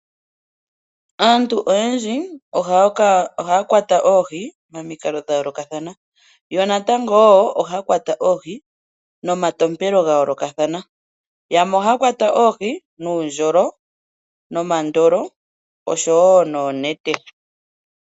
Aantu oyendji ohaya kwata oohi momikalo dhayoolokathana. Yo natango ohaya kwata oohi nomatompelo gayoolokathana. Yamwe ohaya kwata oohi nomandolo, nuundjolo nosho wo noonete.